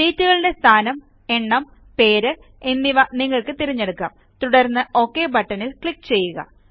ഷീറ്റുകളുടെ സ്ഥാനം എണ്ണം പേര് എന്നിവ നിങ്ങൾക്ക് തിരഞ്ഞെടുക്കാം തുടർന്ന് ഒക് ബട്ടണിൽ ക്ലിക്ക് ചെയ്യുക